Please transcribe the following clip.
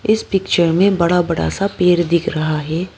इस पिक्चर में बड़ा बड़ा सा पेड़ दिख रहा है।